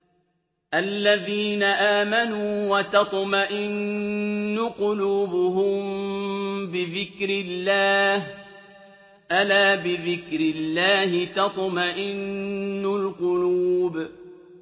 الَّذِينَ آمَنُوا وَتَطْمَئِنُّ قُلُوبُهُم بِذِكْرِ اللَّهِ ۗ أَلَا بِذِكْرِ اللَّهِ تَطْمَئِنُّ الْقُلُوبُ